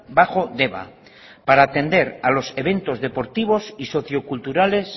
bajo deba para atender a los eventos deportivos y socio culturales